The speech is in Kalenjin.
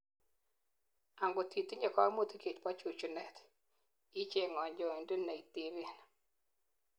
angot itinyei kaimutik chebo chuchunet, icheng kanyoindet neiteben